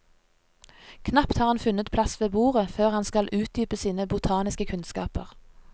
Knapt har han funnet plass ved bordet, før han skal utdype sine botaniske kunnskaper.